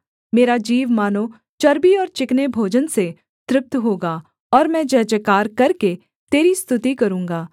मेरा जीव मानो चर्बी और चिकने भोजन से तृप्त होगा और मैं जयजयकार करके तेरी स्तुति करूँगा